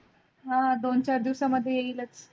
हां दोन चार दिवसा मधे येइलच.